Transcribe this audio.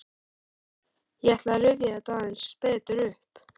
Ég ætla að rifja þetta aðeins betur upp.